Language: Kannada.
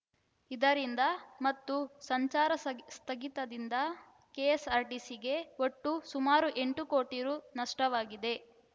ಇದರಿಂದ ಮತ್ತು ಸಂಚಾರ ಸ ಸ್ಥಗಿತದಿಂದ ಕೆಎಸ್‌ಆರ್‌ಟಿಸಿಗೆ ಒಟ್ಟು ಸುಮಾರು ಎಂಟು ಕೋಟಿ ರುನಷ್ಟವಾಗಿದೆ